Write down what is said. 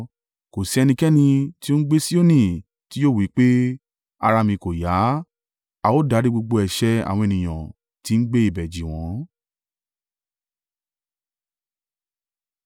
Kò sí ẹnikẹ́ni tí ó ń gbé Sioni tí yóò wí pé, “Ara mi kò yá,” a ó dárí gbogbo ẹ̀ṣẹ̀ àwọn ènìyàn tí ń gbé ibẹ̀ jì wọ́n.